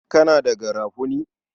Kana da garafuni?